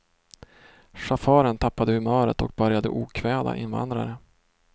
Chauffören tappade humöret och började okväda invandrare.